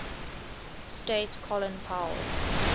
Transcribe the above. state colin powell